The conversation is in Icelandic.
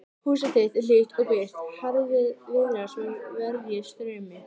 Húsið þitt er hlýtt og byrgt, harðviðra svo verjist straumi.